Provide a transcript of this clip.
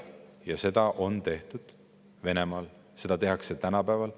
Jah, seda on tehtud Venemaal, seda tehakse tänapäeval.